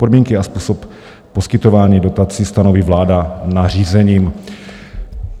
Podmínky a způsob poskytování dotací stanoví vláda nařízením."